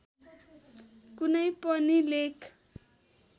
कुनै पनि लेख